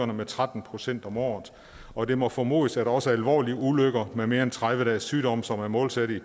med tretten procent om året og det må formodes at også alvorlige ulykker med mere end tredive dages sygdom som er måltallet i